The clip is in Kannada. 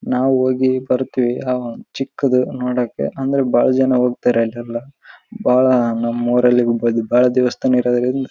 ನಾವು ಹೋಗಿ ಇಲ್ಲಿ ಬರುತ್ತಿವಿ ಆ ಚಿಕ್ಕದು ನೋಡೋಕೆ ಅಂದ್ರೆ ಬಹಳ ಜನ ಹೋಗ್ತಾರೆ ಇಲ್ ಎಲ್ಲಾ ನಮ್ಮೂರಲ್ಲಿ ಬಹಳ ದೇವಸ್ಥಾನ ಇರದ್ರಿಂದ-